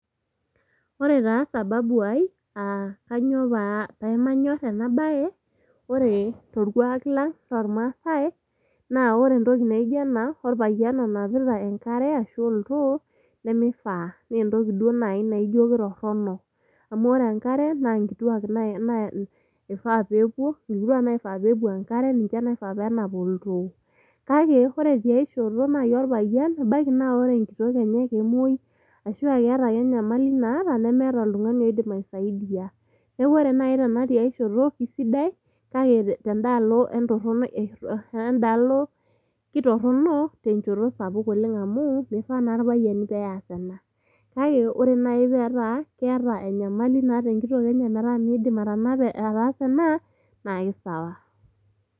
Ore taa sababu ai aa kainyioo pemanyor ena bae ,ore torkwaak lang loormaase naa ore entoki naijo ena orpayian onapita enkare ashu oltoo nemeifaa ,entoki duo naji najio kitorono .Amu ore enkare naa nkituaak ifaa peepuo ,nkituaak naifaa pepuo enkare, ninche naifaa penap oltoo . Kake ore tiai shoto naji orpayian ebaiki naa ore enkitok enye kemwoi ashuaa keeta ake enyamali naata, nemeeta oltungani oidim aisaidia .Niaku ore naji tiai shoto kisidai kake tendaalo entorono endaalo ,kitorono tenchoto sapuk oleng ,amu mifaa naa irpayiani peas ena . Kake ore naji petaa keeta enyamali naata enkitok metaa mindim ataasa ena naa kisawa.